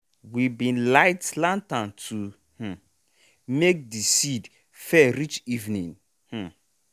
we bin light lantern to um make de seed fair reach evening. um